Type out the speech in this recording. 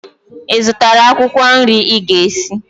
Ị zụtara akwụkwọ nri ị ga-esi?